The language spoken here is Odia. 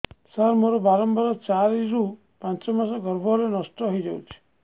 ସାର ମୋର ବାରମ୍ବାର ଚାରି ରୁ ପାଞ୍ଚ ମାସ ଗର୍ଭ ହେଲେ ନଷ୍ଟ ହଇଯାଉଛି